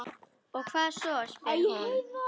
Og hvað svo, spyr hún.